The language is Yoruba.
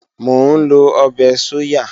Mò ń lọ ọbẹ̀ sóyà